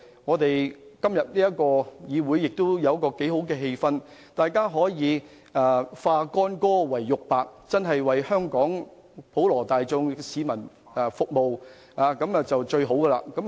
議會今天的辯論氣氛良好，議員可以化干戈為玉帛，真正為香港普羅大眾服務，這便是最理想的情況。